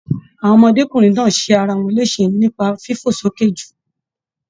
Àwọn ọmọdékunrin náà ṣe arawọn lésè nipa fifo soke jù